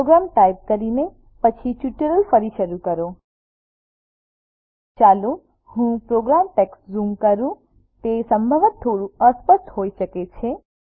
programme type કરીને પછી tutorial ફરી શરૂ કરો ચાલો હું પ્રોગ્રામ ટેક્સ્ટને ઝૂમ કરું તે સંભવતઃ થોડું અસ્પષ્ટ હોઈ શકે છે